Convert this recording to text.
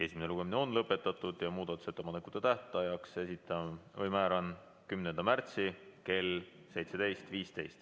Esimene lugemine on lõpetatud ja muudatusettepanekute tähtajaks määran 10. märtsi kell 17.15.